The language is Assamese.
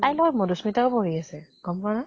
তাইৰ লগত মধুস্মিতাও পঢ়ি আছে, গম পোৱা ন?